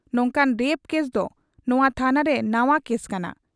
ᱱᱚᱝᱠᱟᱱ rape case ᱫᱚ ᱱᱚᱶᱟ ᱛᱷᱟᱱᱟ ᱨᱮ ᱱᱟᱶᱟ ᱠᱮᱥ ᱠᱟᱱᱟ ᱾